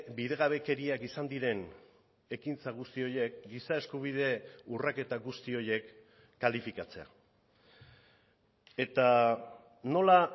bidegabekeriak izan diren ekintza guzti horiek giza eskubide urraketa guzti horiek kalifikatzea eta nola